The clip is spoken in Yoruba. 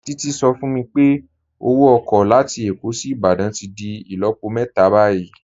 Títí sọ fún mí pé ọwọ oko latí Ékó sí Ìbàdàn tí dì ilọ̀pọ̀ mẹta bayí.i